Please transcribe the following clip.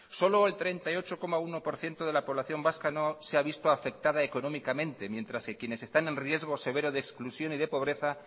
solo el treinta y ocho coma uno por ciento de la población vasca no se ha visto afectada económicamente mientras quienes están en riesgo severo de exclusión y de pobreza